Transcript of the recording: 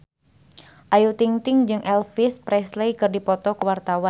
Ayu Ting-ting jeung Elvis Presley keur dipoto ku wartawan